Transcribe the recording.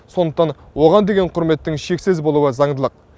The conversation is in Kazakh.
сондықтан оған деген құрметтің шексіз болуы заңдылық